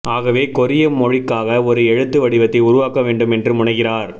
ஆகவே கொரிய மொழிக்காக ஒரு எழுத்து வடிவத்தை உருவாக்க வேண்டும் என்று முனைகிறார்